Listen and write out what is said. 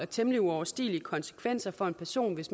temmelig uoverstigelige konsekvenser for en person hvis